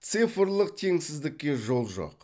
цифрлық теңсіздікке жол жоқ